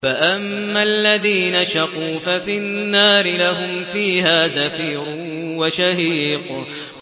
فَأَمَّا الَّذِينَ شَقُوا فَفِي النَّارِ لَهُمْ فِيهَا زَفِيرٌ وَشَهِيقٌ